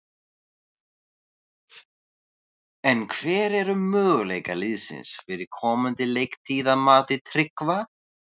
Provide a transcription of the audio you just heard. En hver eru möguleikar liðsins fyrir komandi leiktíð að mati Tryggva?